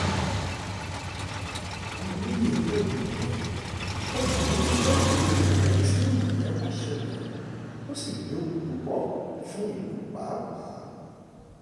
olóye elébùíbọn ó burú jáì um ó tírú ìyẹn bá ṣẹlẹ̀ ó sì léwu púpọ̀ um fún ìlú pàápàá